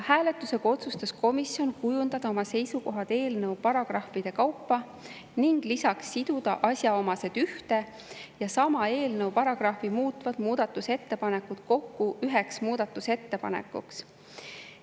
Hääletusega otsustas komisjon kujundada oma seisukohad eelnõu paragrahvide kaupa ning lisaks siduda asjaomased ühte ja sama eelnõu paragrahvi muutvad muudatusettepanekud kokku üheks ettepanekuks.